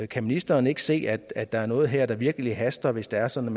kan ministeren ikke se at at der er noget her der virkelig haster hvis det er sådan